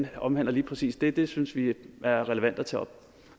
omhandler lige præcis det det synes vi er relevant at tage op